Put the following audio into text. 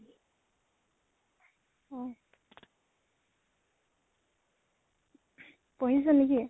অ পঢ়িছ নেকি?